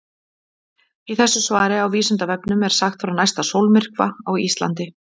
Í þessu svari á Vísindavefnum er sagt frá næsta sólmyrkva á Íslandi.